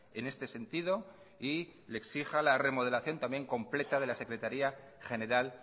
en este sentido y le exija la remodelación también completa de la secretaría general